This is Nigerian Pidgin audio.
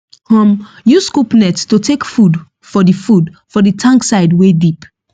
um use scoop net to take food for the food for the tank side wey deep